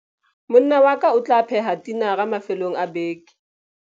Monna wa ka o tla pheha tinara mafelong a beke.